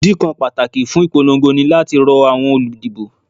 Ìdí kan pàtàkì fún ìpolongo ní láti rọ àwọn olùdìbò